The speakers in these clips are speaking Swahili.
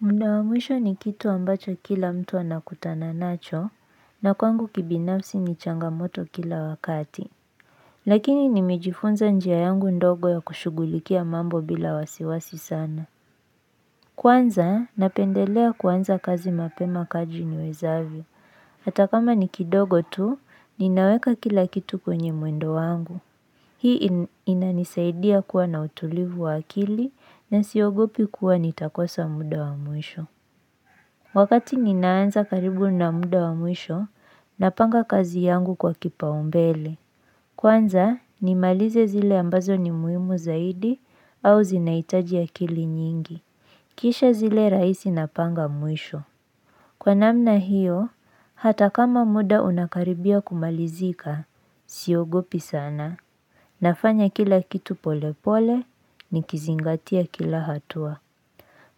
Muda wa mwisho ni kitu ambacho kila mtu anakutana nacho na kwangu kibinafsi ni changamoto kila wakati. Lakini nimejifunza njia yangu ndogo ya kushugulikia mambo bila wasiwasi sana. Kwanza, napendelea kuanza kazi mapema kadri niwezavyo. Atakama ni kidogo tu, ninaweka kila kitu kwenye mwendo wangu. Hii inanisaidia kuwa na utulivu wa akili na siogopi kuwa nitakosa muda wa mwisho. Wakati ninaanza karibu na muda wa mwisho, napanga kazi yangu kwa kipaumbele. Kwanza, nimalize zile ambazo ni muimu zaidi au zinaitaji akili nyingi. Kisha zile rahisi napanga mwisho. Kwa namna hiyo, hata kama muda unakaribia kumalizika, siogopi sana. Nafanya kila kitu pole pole, nikizingatia kila hatua.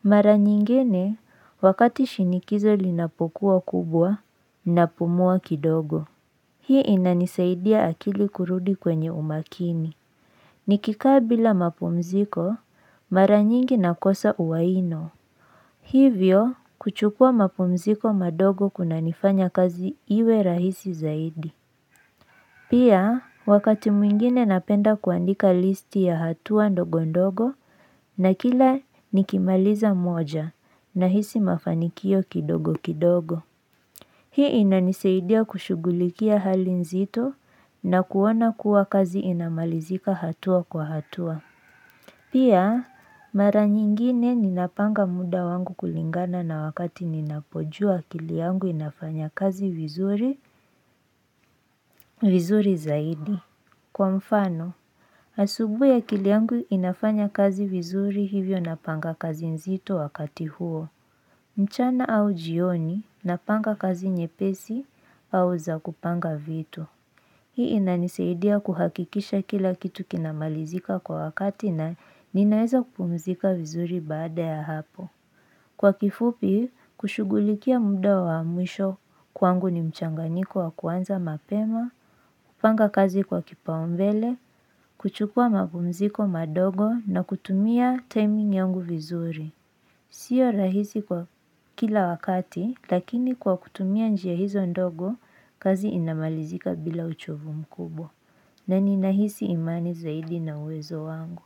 Mara nyingine wakati shinikizo linapokuwa kubwa, napumua kidogo. Hii inanisaidia akili kurudi kwenye umakini. Nikikaa bila mapumziko, mara nyingi nakosa uwiano. Hivyo, kuchukua mapumziko madogo kunanifanya kazi iwe rahisi zaidi. Pia, wakati mwingine napenda kuandika listi ya hatua ndogo ndogo na kila nikimaliza moja nahisi mafanikio kidogo kidogo. Hii inanisaidia kushugulikia hali nzito na kuona kuwa kazi inamalizika hatua kwa hatua. Pia, mara nyingine ninapanga muda wangu kulingana na wakati ninapojua akili yangu inafanya kazi vizuri, vizuri zaidi. Kwa mfano, asubuhi akili yangu inafanya kazi vizuri hivyo napanga kazi nzito wakati huo, mchana au jioni napanga kazi nyepesi au za kupanga vitu. Hii inanisaidia kuhakikisha kila kitu kinamalizika kwa wakati na ninaweza kupumzika vizuri baada ya hapo. Kwa kifupi, kushugulikia muda wa mwisho kwangu ni mchanganiko wa kuanza mapema, kupanga kazi kwa kipaumbele, kuchukua mapumziko madogo na kutumia timing yangu vizuri. Sio rahisi kwa kila wakati, lakini kwa kutumia njia hizo ndogo, kazi inamalizika bila uchovu mkubwa. Na ninahisi imani zaidi na uwezo wangu.